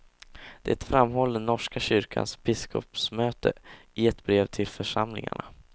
Det framhåller norska kyrkans biskopsmöte i ett brev till församlingarna.